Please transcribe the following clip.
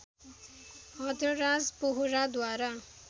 हदराज वोहराद्वारा